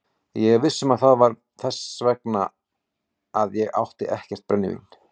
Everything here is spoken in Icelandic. Ég er viss um að það var vegna þess að ég átti ekkert brennivín.